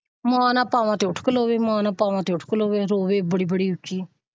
ਮਾਂ ਨਾਲ ਪਾਵਾ ਤਾ ਉੱਠ ਖ਼ਲੋਵੇ ਮਾਂ ਨਾਲ ਪਾਵਾ ਤਾ ਉੱਠ ਖਲੋਵੇ ਰੋਵੇ ਬੜੀ ਬੜੀ ਉੱਚੀ।